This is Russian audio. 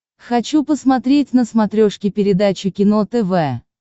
хочу посмотреть на смотрешке передачу кино тв